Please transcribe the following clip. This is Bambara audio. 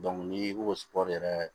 ni koɔri yɛrɛ